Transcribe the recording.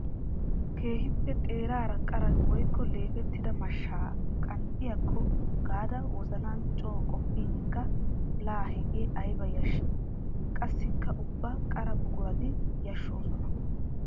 Keehippe xeerara qara woykko leefettidda mashsha qanxxiyakko gaada wozanan coo qoppinkka la hegee aybba yashshi! Qassikka ubba qara buquratti yashshoosonna.